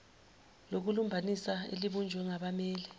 lokulumbanisa elibunjwe ngabammeli